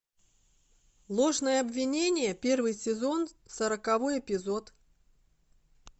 ложное обвинение первый сезон сороковой эпизод